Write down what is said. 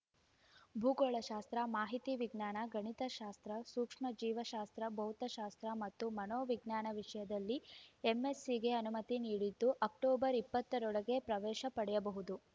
ಭೂಗೋಳಶಾಸ್ತ್ರ ಮಾಹಿತಿ ವಿಜ್ಞಾನ ಗಣಿತಶಾಸ್ತ್ರ ಸೂಕ್ಷ್ಮ ಜೀವಶಾಸ್ತ್ರ ಭೌತಶಾಸ್ತ್ರ ಮತ್ತು ಮನೋವಿಜ್ಞಾನ ವಿಷಯದಲ್ಲಿ ಎಂಎಸ್ಸಿಗೆ ಅನುಮತಿ ನೀಡಿದ್ದು ಅಕ್ಟೋಬರ್ ಇಪ್ಪತ್ತ ರೊಳಗೆ ಪ್ರವೇಶ ಪಡೆಯಬಹುದು